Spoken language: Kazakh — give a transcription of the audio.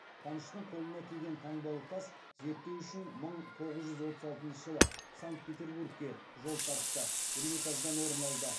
қаныштың қолына тиген таңбалы тас зерттеу үшін мың тоғыз жүз отыз алтыншы жылы санкт петербургке жол тартты эрмитаждан орын алды